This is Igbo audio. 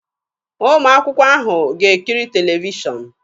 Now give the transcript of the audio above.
Ụmụ akwụkwọ ahụ ga-ekiri televishọnụ